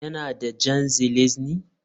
Yana da Jan ŽELEZNÝ